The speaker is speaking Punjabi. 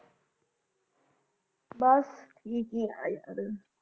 ਬਸ ਠੀਕ ਹੀਂ ਹਾਂ